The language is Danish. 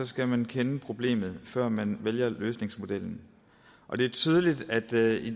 skal man kende problemet før man vælger løsningsmodellen og det er tydeligt at der i